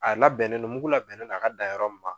A labɛnnen don mugu labɛnnen don a ka dan yɔrɔ min ma.